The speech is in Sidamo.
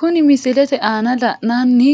Kuni misilete aana la'nanni